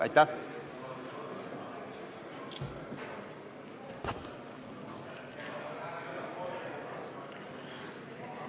Aitäh!